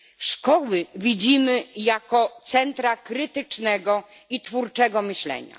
Szkoły widzimy jako centra krytycznego i twórczego myślenia.